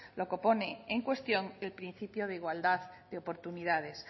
lo que pone en cuestión el principio de igualdad de oportunidades